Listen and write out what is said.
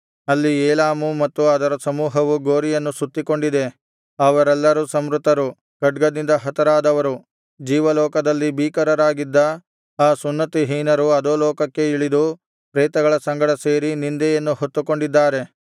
ಅಲ್ಲಿ ಏಲಾಮು ಮತ್ತು ಅದರ ಸಮೂಹವು ಗೋರಿಯನ್ನು ಸುತ್ತಿಕೊಂಡಿದೆ ಅವರೆಲ್ಲರೂ ಸಂಹೃತರು ಖಡ್ಗದಿಂದ ಹತರಾದವರು ಜೀವಲೋಕದಲ್ಲಿ ಭೀಕರರಾಗಿದ್ದ ಆ ಸುನ್ನತಿಹೀನರು ಅಧೋಲೋಕಕ್ಕೆ ಇಳಿದು ಪ್ರೇತಗಳ ಸಂಗಡ ಸೇರಿ ನಿಂದೆಯನ್ನು ಹೊತ್ತುಕೊಂಡಿದ್ದಾರೆ